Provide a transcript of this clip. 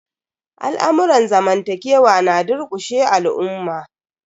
Al'amurran zamantakewa na durƙushe al'umma.